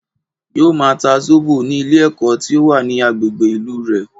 Yóò ma ta Zóbò ní Ilé èkó tí ó wà ní agbègbè Ilé rè